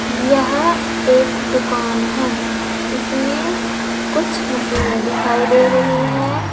यह एक दुकान है इसमें कुछ मशीने दिखाई दे रही है।